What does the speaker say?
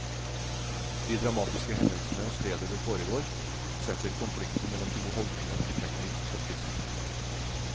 De dramatiske hendelsene og stedet det foregår, setter konflikten mellom to holdninger effektivt på spissen.